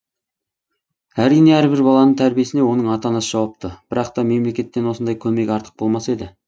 әрине әрбір баланың тәрбиесіне оның ата анасы жауапты бірақ та мемлекеттен осындай көмек артық болмас еді